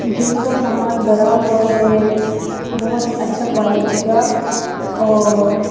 gym का सामान बरा हुआ है बहोत ही अच्छा क्वालिटी का और--